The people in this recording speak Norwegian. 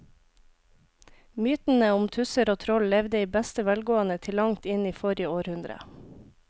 Mytene om tusser og troll levde i beste velgående til langt inn i forrige århundre.